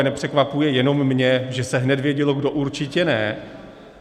A nepřekvapuje jenom mě, že se hned vědělo, kdo určitě ne.